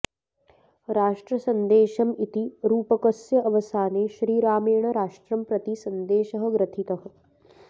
राष्ट्रसन्देशमिति रूपकस्य अवसाने श्रीरामेण राष्ट्रं प्रति सन्देशः ग्रथितः